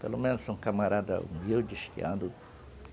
Pelo menos um camarada humilde, estiando.